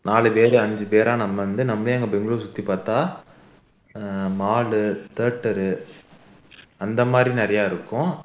நாலு பேரு அஞ்சு பேரா நம்ம வந்து நம்மளே அங்க பெங்களூர் சுத்தி பார்த்தா ஆஹ் mall theatre அந்த மாதிரி நிறைய இருக்கும்